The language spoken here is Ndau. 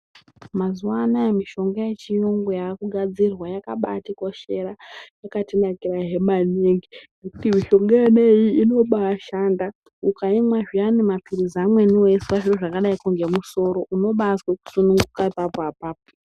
Mazuva anawa mishonga yechirungu yakagadzirwa yakabatikoshera yakatinakira he maningi ngekuti mishonga yona iyi inobashanda ukaimwa amweni mapirizi akadai weizwa zvakadai nemusoro unobazwa kusununguka apapo apapo.